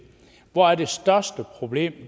hvor er det største problem